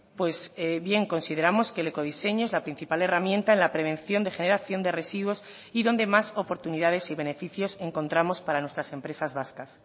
pues bien consideramos que el ecodiseño es la principal herramienta en la prevención de generación de residuos y donde más oportunidades y beneficios encontramos para nuestras empresas vascas